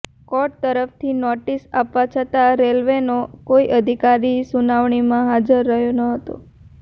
court તરફથી notice આપવા છતાં રેલવેનો કોઇ અધિકારી સુનાવણીમાં હાજર રહ્યો નહોતો